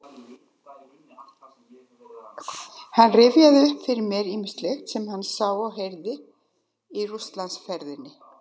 Hann rifjaði upp fyrir mér ýmislegt sem hann sá og heyrði í Rússlandsferðinni